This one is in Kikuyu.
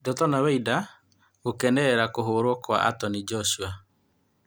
Ndotono Weinda gũkenerera kũhũrwo kwa Antonĩ Njoshua